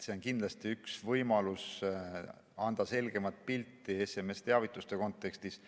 See on kindlasti üks võimalusi anda selgemat pilti SMS‑teavituste kontekstis.